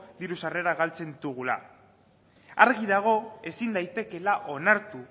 diru sarrerak galtzen ditugula argi dago ezin daitekeela onartu